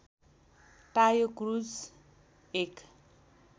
टायो Cruz एक